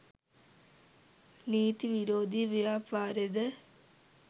නීති විරෝධී ව්‍යාපාරද